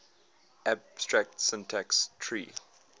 abstract syntax tree